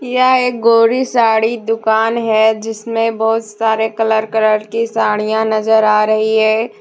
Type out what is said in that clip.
यह एक गौरी साड़ी दुकान है जिसमें बहुत सारे कलर कलर के साड़ियां नजर आ रही है।